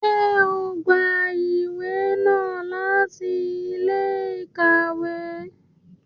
Ṣe o n gbà ìwé náà láti ilé-íkàwe?